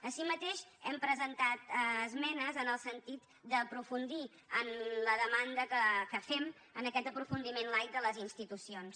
així mateix hem presentat esmenes en el sentit d’aprofundir en la demanda que fem en aquest aprofundiment laic de les institucions